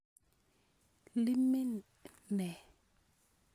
Iimin ne?